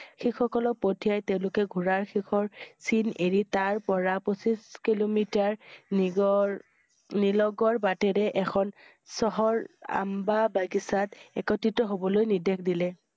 শিখ সকলক পঠিয়াই তেওঁলোকে ঘোঁৰাৰ শেষৰ চিন এৰি তাৰ পৰা পঁচিছ কিলোমিটাৰ নিগৰ~নিলগৰ বাটেৰে এখন চহৰ অম্ব বাগিচাত একত্ৰিত হবলৈ নিৰ্দেশ দিলে।